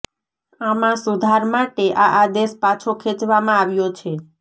આમાં સુધાર માટે આ આદેશ પાછો ખેંચવામાં આવ્યો છે